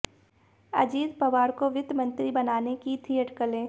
अजित पवार को वित्त मंत्री बनाने की थी अटकलें